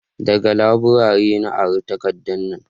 daga laburare na ara takardan nan